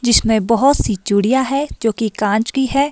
जिसमें बहुत सी चूड़ियां है जो कि कांच की है।